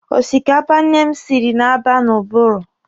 Osikapa nne m siri na-aba n'ụbụrụ.